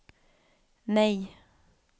nej